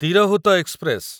Tirhut express